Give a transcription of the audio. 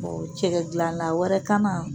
cɛkɛ dilanna wɛrɛ kana